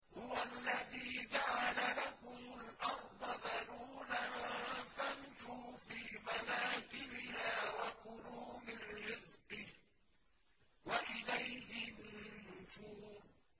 هُوَ الَّذِي جَعَلَ لَكُمُ الْأَرْضَ ذَلُولًا فَامْشُوا فِي مَنَاكِبِهَا وَكُلُوا مِن رِّزْقِهِ ۖ وَإِلَيْهِ النُّشُورُ